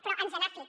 però ens n’ha fet